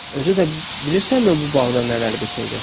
Özü də bilirsənmi bu bağda nələr bitirdi?